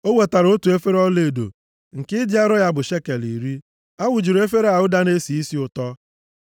O wetara otu efere ọlaedo nke ịdị arọ ya bụ shekel iri. A wụjuru efere a ụda na-esi isi ụtọ.